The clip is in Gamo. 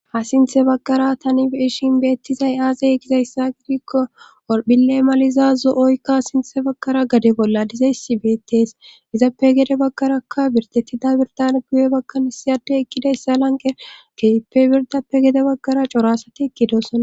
ha sinthe bagara taniishin beettizay aazay gizayssa gidikko orphille maliza zo7oykka sinthe bakkara gade bolla dizayssi beettees izappe gede bagkarakka birtettida birdan guwe bakkan siyade ekkidayssa lanqe keeppe birdappe gede bagara corasati eqidosona